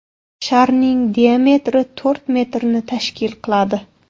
Sharning diametri to‘rt metrni tashkil qiladi.